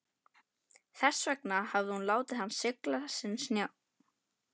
Þess vegna hafði hún látið hann sigla sinn sjó.